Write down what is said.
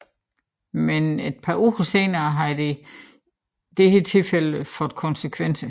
Men et par uger senere havde dette tilfælde fået konsekvenser